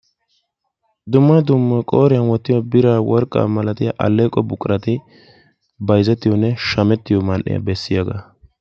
Dumma dumma qooriyan wottiyo biranne worqq milatiyaa alleeqqo buqurati bayzzettiyonne shammettiyo man'iyaa bessiyaga.